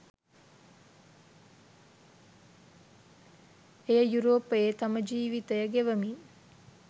එය යුරෝපයේ තම ජීවිතය ගෙවමින්